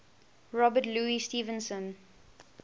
robert louis stevenson